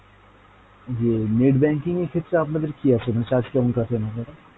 যে net banking এর ক্ষেত্রে আপনাদের কী আছে charge কেমন কাটেন আপনারা?